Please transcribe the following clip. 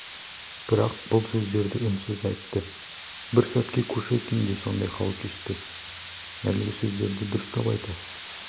бірақ бұл сөздерді үнсіз айтты бір сәтке кушекин де сондай хал кешті әлгі сөздерді дауыстап айта